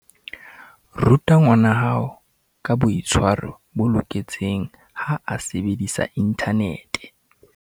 Ruta ngwanahao ka boitshwaro bo loketseng ha a sebedisa inthanete.